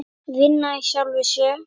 Vinna í sjálfum sér.